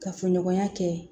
Kafoɲɔgɔnya kɛ